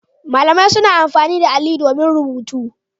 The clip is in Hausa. Malamai suna amfani da alli domin rubutu.